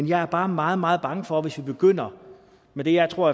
jeg er bare meget meget bange for at vi begynder med det jeg tror